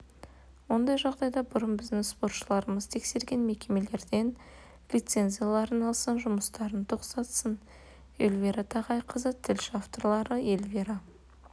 ондай жағдайда бұрын біздің спортшыларымызды тексерген мекемелерден лицензияларын алсын жұмыстарын тоқтатсын эльвира тағайқызы тілші авторлары эльвира